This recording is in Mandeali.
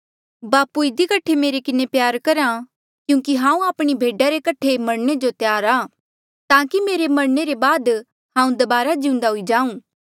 बापू इधी कठे मेरे किन्हें प्यार करहा क्यूंकि हांऊँ आपणी भेडा रे कठे मरणे जो तैयार आ ताकि मेरे मरणे ले बाद हांऊँ दबारा जिउन्दा हुई जांऊँ